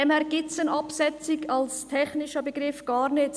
Insofern gibt es die Absetzung als technischen Begriff gar nicht.